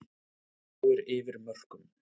Örfáir yfir mörkum